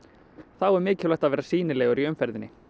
þá er mikilvægt að vera sýnilegur í umferðinni